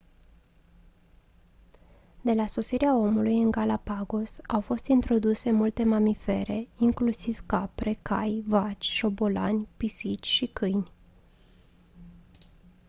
de la sosirea omului în galapagos au fost introduse multe mamifere inclusiv capre cai vaci șobolani pisici și câini